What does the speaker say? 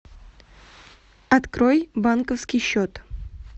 открой банковский счет